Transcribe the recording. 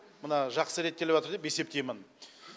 мына жақсы реттеліватыр деп есептеймін